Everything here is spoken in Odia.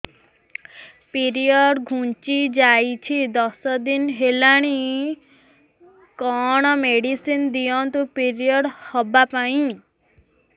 ପିରିଅଡ଼ ଘୁଞ୍ଚି ଯାଇଛି ଦଶ ଦିନ ହେଲାଣି କଅଣ ମେଡିସିନ ଦିଅନ୍ତୁ ପିରିଅଡ଼ ହଵା ପାଈଁ